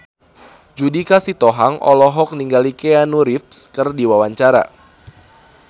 Judika Sitohang olohok ningali Keanu Reeves keur diwawancara